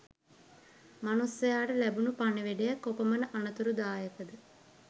මනුස්සයාට ලැබුණු පණිවිඩය කොපමණ අනතුරුදායකද?